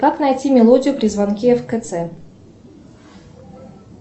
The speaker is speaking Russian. как найти мелодию при звонке в кц